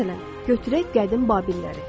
Məsələn, götürək qədim Babilləri.